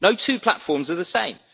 No two platforms are the same.